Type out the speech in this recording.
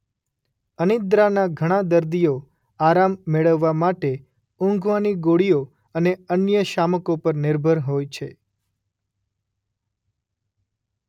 અનિદ્રાના ઘણા દર્દીઓ આરામ મેળવવા માટે ઊંઘવાની ગોળીઓ અને અન્ય શામકો પર નિર્ભર હોય છે.